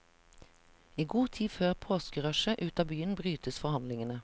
I god tid før påskerushet ut av byen brytes forhandlingene.